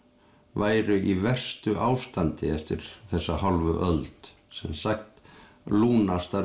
væru í verstu ástandi eftir þessa hálfu öld sem sagt